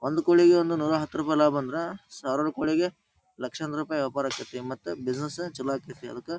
ಒಂದು ಕೋಳಿಗೆ ಒಂದು ನೂರಾಹತ್ತು ರೂಪಾಯಿ ಲಾಭ ಅಂದ್ರ ಸಾವಿರಾರು ಕೋಳಿಗೆ ಲಕ್ಷಾಂತರ ರೂಪಾಯಿ ವ್ಯಾಪಾರ ಆಗತೈತಿ ಮತ್ತೆ ಬಿಸಿನೆಸ್ ಚಲೋ ಆಗತೈತಿ ಅದಕ್ಕ--